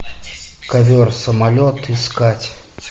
ковер самолет искать